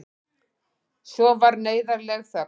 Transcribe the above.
Svo varð neyðarleg þögn.